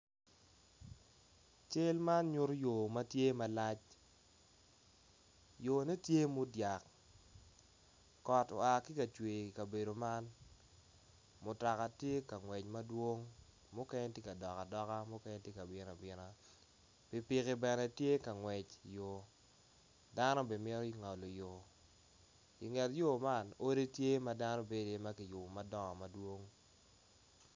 cal man nyuto yor matye malac yor ne tye mudyak kot oa ki kacwer ikabedo man mutoka tye kangwec madwong mukene tye kadok adoka mukene tye kabino abina pikipiki bene tye kangwec i yor dano bene mito ngolo yor inget yo man odi tye ma dano bendo iye ma kiyubo madongo madowong